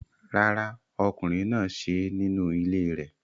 Rárá, ọkùnrin náà ṣe é nínú ilé rẹ̀